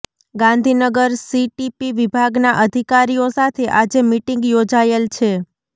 Gandhinagar CTP વિભાગના અધિકારીઓ સાથે આજે મીટીંગ યોજાયેલ છે